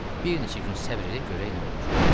Bir neçə gün səbr elə, görək nə olur.